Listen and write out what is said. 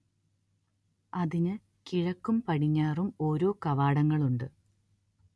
അതിന് കിഴക്കും പടിഞ്ഞാറും ഓരോ കവാടങ്ങളുണ്ട്